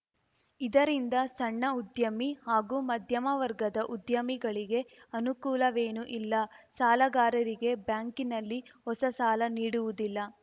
ಇದರಿಂದ ಸಣ್ಣ ಉದ್ಯಮಿ ಹಾಗೂ ಮಧ್ಯಮ ವರ್ಗದ ಉದ್ಯಮಿಗಳಿಗೆ ಅನುಕೂಲವೇನೂ ಇಲ್ಲ ಸಾಲಗಾರರಿಗೆ ಬ್ಯಾಂಕಿನಲ್ಲಿ ಹೊಸ ಸಾಲ ನೀಡುವುದಿಲ್ಲ